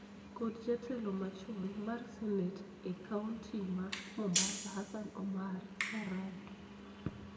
kod Jatelo machon mar senet e kaonti ma Mombasa, Hassan Omar Sarai